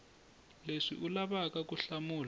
leswi u lavaka ku hlamula